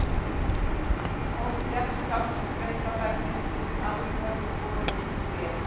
Honum gekk skást að skreyta þær myndir sem aðrir höfðu skorið í tré.